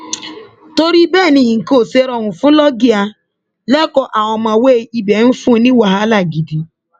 torí bẹẹ ni nǹkan ò ṣe rọrùn fún loggia lẹkọọ àwọn ọmọwé ibẹ ń fún un ní wàhálà gidi